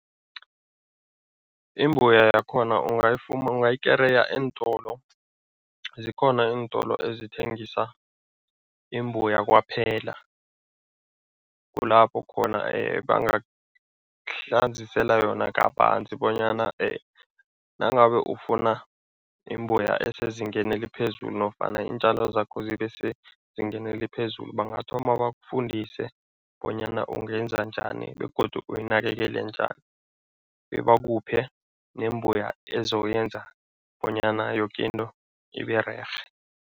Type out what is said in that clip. Imbuya yakhona ungayikereya eentolo. Zikhona iintolo ezithengisa imbuya kwaphela, kulapho khona bangakuhlanzisela yona kabanzi bonyana nangabe ufuna imbuya esezingeni eliphezulu nofana iintjalo zakho zibe sezingeni eliphezulu. Bangathoma bakufundise bonyana ungenza njani begodu uyinakekele njani bebakuphe nembuya ezoyenza bonyana yoke into ibererhe.